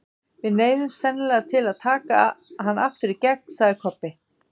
Við neyðumst sennilega til að taka hann aftur í gegn, sagði Kobbi.